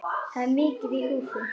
Það er mikið í húfi.